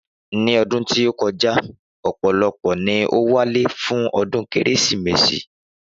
Ni ọdún tí ókojá ọ̀pọ̀lọpọ̀ ní o wálé fún ọdún kérésìmesì